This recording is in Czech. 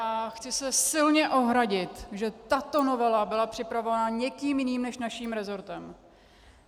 A chci se silně ohradit, že tato novela byla připravována někým jiným než naším resortem.